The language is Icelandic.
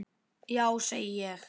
Já, segi ég.